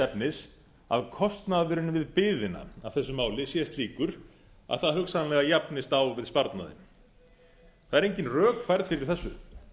efnis að kostnaðurinn við biðina af þessu máli sé slíkur að það hugsanlega jafnist á við sparnaðinn það eru engin rök færð fyrir þessu